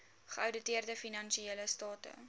geouditeerde finansiële state